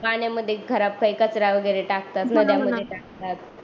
पाण्यामध्ये खराब काही कचरा वगेरे टाकतात